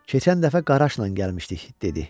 "Keçən dəfə Qaraşla gəlmişdik" dedi.